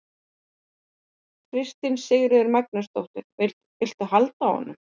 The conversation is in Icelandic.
Kristín Sigríður Magnúsdóttir: Viltu halda á honum?